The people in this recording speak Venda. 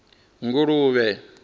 nguluvhe